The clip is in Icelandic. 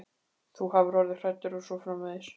Þú hafir orðið hræddur og svo framvegis.